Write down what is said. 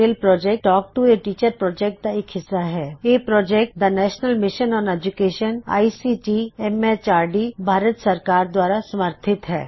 ਇਹ ਪ੍ਰੌਜੈਕਟ ਦਾ national mission on education I C T M H R D the national mission on education ICT MHRD Bharat ਸਰਕਾਰ ਦੁਆਰਾ ਸਮਰਥਿਤ ਹੈ